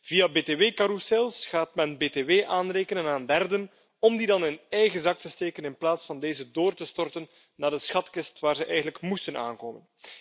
Via btw carrousels gaat mijn btw aanrekenen aan derden om die dan in eigen zak te steken in plaats van deze door te storten naar de schatkist waar ze eigenlijk moesten aankomen.